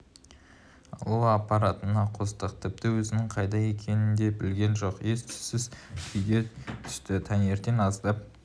алу аппаратына қостық тіпті өзінің қайда екенін де білген жоқ ес-түссіз күйде түсті таңертең аздап